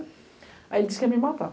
Aí ele disse que ia me matar.